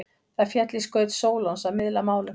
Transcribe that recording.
Það féll í skaut Sólons að miðla málum.